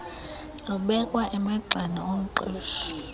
lubekwa emagxeni omqeshi